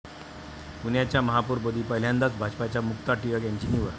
पुण्याच्या महापौरपदी पहिल्यांदाच भाजपच्या मुक्ता टिळक यांची निवड